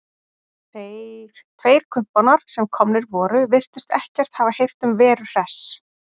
Þeir tveir kumpánar sem komnir voru virtust ekkert hafa heyrt um Veru Hress.